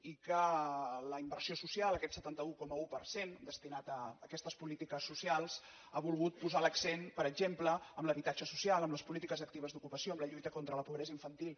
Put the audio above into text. i que la inversió social aquest setanta un coma un per cent destinat a aquestes polítiques socials ha volgut posar l’accent per exemple en l’habitatge social en les polítiques actives d’ocupació en la lluita contra la pobresa infantil